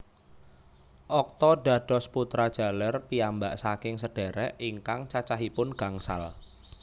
Okto dados putra jaler piyambak saking sedhérék ingkang cacahipun gangsal